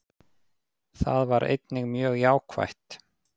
Það var einnig mjög jákvætt